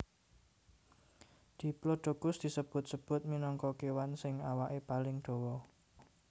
Diplodocus disebut sebut minangka kewan sing awake paling dawa